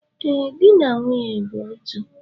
Ee, di na nwunye bụ otu